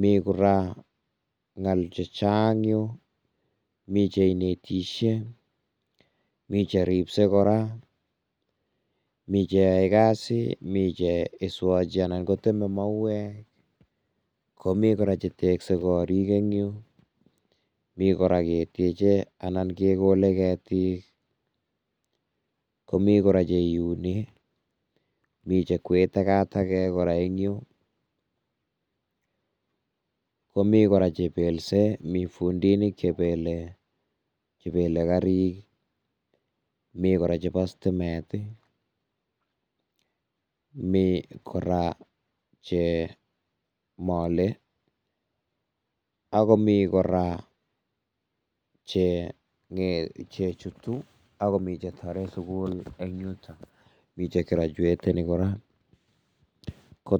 mi kora ngal chechang yu, mi che inetisie, mi cheribsei kora, mi cheyoi kasi anan mi cheswochi anan koteme mauwek, komi kora cheteksei korik eng yu, mi kora ketyeche anan kekole kora ketik, komi kora che iuni, mi jekwee takatakek kora eng yu komi kora chebelse, mi fundiinik chebele, chebele karik, mi kora chebo stimet ii, mi kora che mole, ak komi kora che jutu ak. Komi jetore sukul eng yuton, mi jegrajueteni kora.